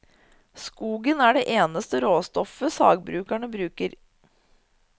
Skogen er det eneste råstoffet sagbrukene bruker.